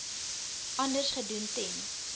anders gedoen ten